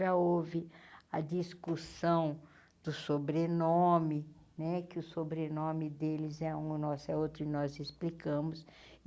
Já houve a discussão do sobrenome, né que o sobrenome deles é um, o nosso é outro e nós explicamos.